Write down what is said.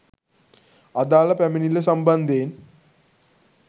අදාළ පැමිණිල්ල සම්බන්ධයෙන්